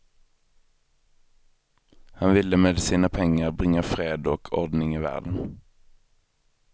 Han ville med sina pengar bringa fred och ordning i världen.